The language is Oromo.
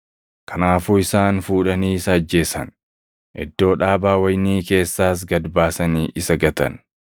Kanaafuu isaan fuudhanii isa ajjeesan; iddoo dhaabaa wayinii keessaas gad baasanii isa gatan.